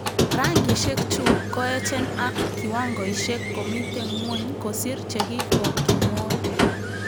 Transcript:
Rangishek chu koechen ak kiwangoishek komite ngwony kosir chekikokimwoy